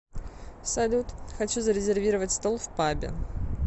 салют хочу зарезервировать стол в пабе